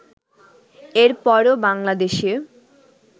এর পরও বাংলাদেশে